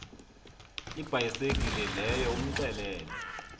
ibhayisekile leyo umxelele